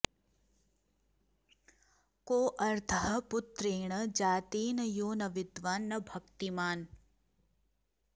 कोऽर्थः पुत्रेण जातेन यो न विद्वान् न भक्तिमान्